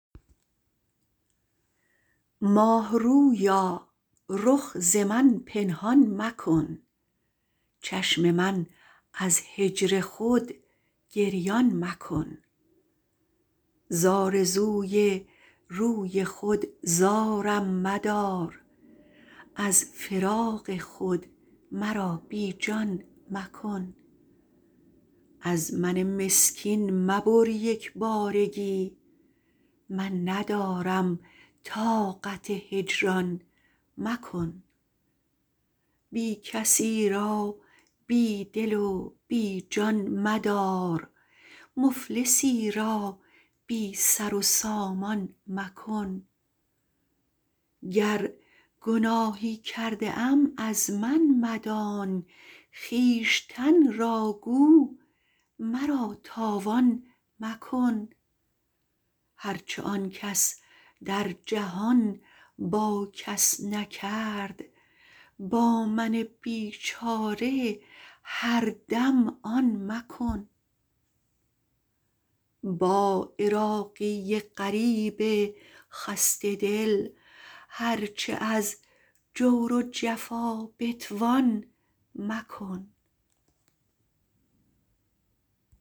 ماهرویا رخ ز من پنهان مکن چشم من از هجر خود گریان مکن ز آرزوی روی خود زارم مدار از فراق خود مرا بی جان مکن از من مسکین مبر یک بارگی من ندارم طاقت هجران مکن بی کسی را بی دل و بی جان مدار مفلسی را بی سر و سامان مکن گر گناهی کرده ام از من مدان خویشتن را گو مرا تاوان مکن هر چه آن کس در جهان با کس نکرد با من بیچاره هر دم آن مکن با عراقی غریب خسته دل هر چه از جور و جفا بتوان مکن